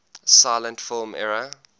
silent film era